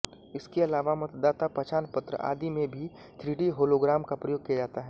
इसके अलावा मतदाता पहचान पत्र आदि में भी थ्रीडी होलोग्राम का प्रयोग किया जाता है